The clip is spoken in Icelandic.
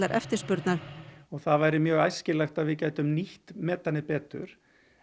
eftirspurnar það væri mjög æskilegt að við gætum nýtt metanið betur